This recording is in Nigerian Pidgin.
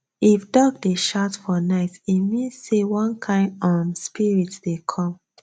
if dog dey shout for night e mean say one kind um spirit dey come